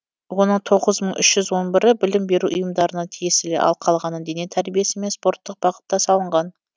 оның тоғыз мың үш жүз он бірі білім беру ұйымдарына тиесілі ал қалғаны дене тәрбиесі мен спорттық бағытта салынған